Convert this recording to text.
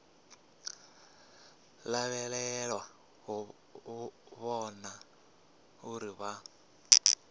lavhelelwa u vhona uri vha